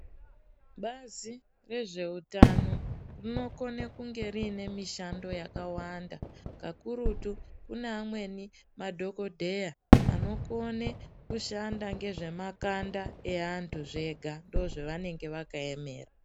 Bazi rezveutano rinokone kunge riine mishando yakawanda, kakurutu kune amweni madhokodheya anokone kushanda ngezvemakanda eavantu zvega ndozvavanenge vakaemera.